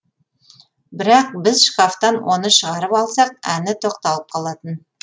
бірақ біз шкафтан оны шығарып алсақ әні тоқталып қалатын